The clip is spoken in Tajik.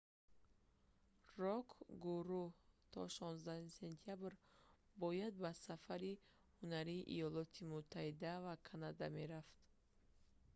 рок-гурӯҳ то 16 сентябр бояд ба сафари ҳунарии иёлоти муттаҳида ва канада мерафт